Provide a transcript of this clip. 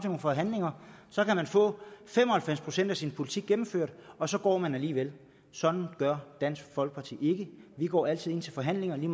nogle forhandlinger og så kan man få fem og halvfems procent af sin politik gennemført og så går man alligevel sådan gør dansk folkeparti ikke vi går altid ind til forhandlinger lige